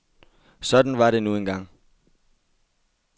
Sådan var det nu en gang.